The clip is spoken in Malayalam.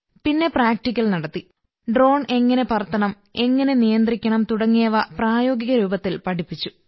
പിന്നെ പ്രാക്ടിക്കൽ നടത്തി ഡ്രോൺ എങ്ങനെ പറത്തണം എങ്ങനെ നിയന്ത്രിക്കണം തുടങ്ങിയവ പ്രായോഗിക രൂപത്തിൽ പഠിപ്പിച്ചു